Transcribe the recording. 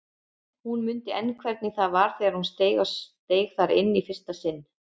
Hún mundi enn hvernig það var þegar hún steig þar inn í fyrsta sinn.